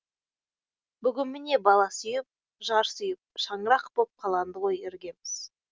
бүгін міне бала сүйіп жар сүйіп шаңырақ боп қаланды ғой іргеміз